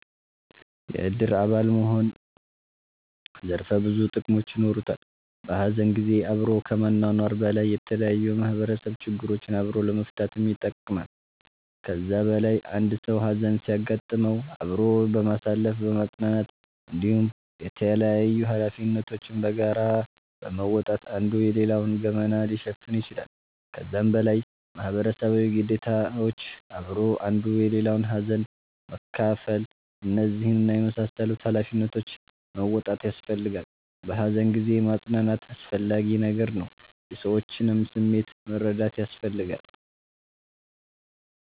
የእድር አባል መሆን ዘርፈ ብዙ ጥቅሞች የኖሩታል። በሀዘን ጊዜ አብሮ ከመኗኗር በላይ የተለያዩ የማህበረሰብ ችግሮችን አብሮ ለመፈታትም ይጠቅማል። ከዛ በላይ አንድ ሰዉ ሀዘን ሲያጋጥመዉ አብሮ በማሳለፍ በማፅናናት እንዲሁም የተላያዩ ሀላፊነቶችን በጋራ በመወጣት አንዱ የሌላዉን ገመና ሊሸፍን ይችላል። ከዛም በላይ ማህበረሰባዊ ግዴታዎች አብሮ አንዱ የሌላዉን ሀዘን መካፍል እነዚህን እና የመሳሰሉትን ሃላፊነቶች መወጣት ያሰፈልጋላ። በሃዘን ጊዜ ማፅናናት አስፈላጊ ነገር ነዉ። የሰዎችንም ስሜት መረዳት ያስፈልጋል